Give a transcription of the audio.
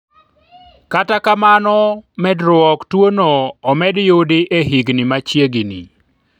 kata kamano, medruok tuono omed yudi e higni machiegni